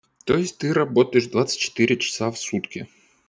то есть ты работаешь двадцать четыре часа в сутки